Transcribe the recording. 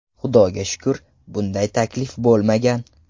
Xudoga shukur, bunday taklif bo‘lmagan.